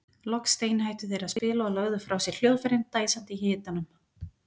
Loks steinhættu þeir að spila og lögðu frá sér hljóðfærin dæsandi í hitanum.